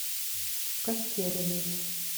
костериной